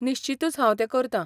निश्चीतूच हांव तें करतां.